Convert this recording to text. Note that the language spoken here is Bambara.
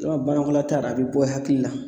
Yarɔ banakɔlataa yɛrɛ a bɛ bɔ hakili la